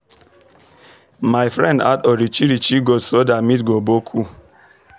my friend add orichirichi goat so that meat go boku